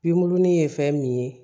Binkurunin ye fɛn min ye